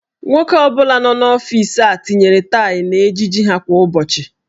Nwoke ọ bụla nọ n'ọfiisi a tinyere taị n'ejiji ha kwa ụbọchị.